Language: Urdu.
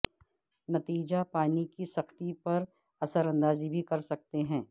نتیجہ پانی کی سختی پر اثر انداز بھی کر سکتے ہیں